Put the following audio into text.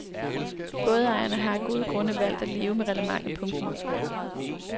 Bådejerne har af gode grunde valgt at leve med reglementet. punktum